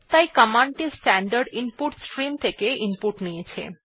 তাই কমান্ড টি standard input stream থেকে ইনপুট নিয়েছে